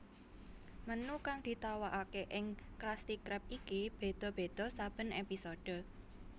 Menu kang ditawakake ing Krusty krab iki beda beda saben episode